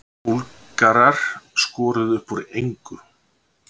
Búlgarar skoruðu upp úr engu